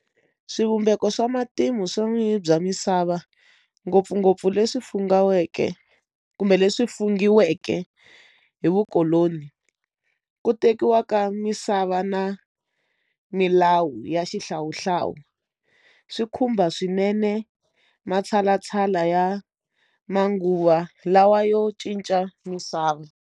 Swivumbeko swa matimu swa vun'winyi bya misava ngopfungopfu leswi fungaweke kumbe leswi fungiweke hi vukoloni ku tekiwa ka misava lava na milawu ya xihlawuhlawu swi khumba swinene matshalatshala ya manguva lawa yo cinca misava.